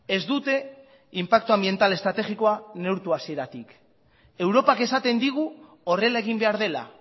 ez dute inpaktu anbiental estrategikoa neurtu hasieratik europak esaten digu horrela egin behar dela